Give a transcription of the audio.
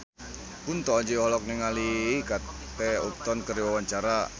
Kunto Aji olohok ningali Kate Upton keur diwawancara